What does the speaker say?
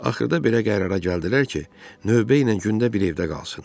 Axırda belə qərara gəldilər ki, növbə ilə gündə bir evdə qalsın.